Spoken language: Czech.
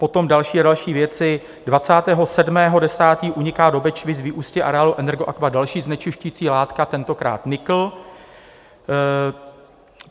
Potom další a další věci: 27. 10. uniká do Bečvy z vyústí areálu Energoaqua další znečišťující látka, tentokrát nikl.